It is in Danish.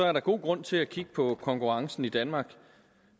er der god grund til at kigge på konkurrencen i danmark